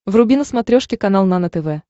вруби на смотрешке канал нано тв